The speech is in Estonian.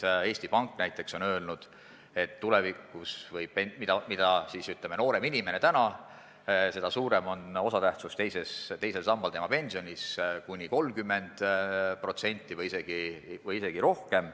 Näiteks Eesti Pank on öelnud, et mida noorem inimene täna on, seda suurem hakkab tema pensionis olema teise samba osatähtsus, kuni 30% või isegi rohkem.